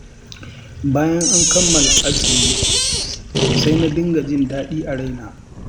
Bayan an kammala azumi, sai na dinga jin daɗi a raina.